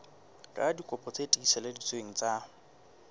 ka dikopi tse tiiseleditsweng tsa